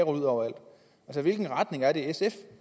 ud overalt så hvilken retning er det sf